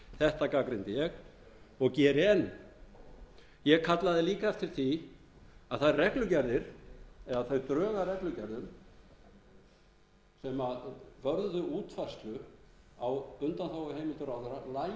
þetta gagnrýndi ég og geri enn ég kallaði líka eftir því að þær reglugerðir eða þau drög að reglugerðum sem yrðu útfærslu á undanþáguheimildir ráðherra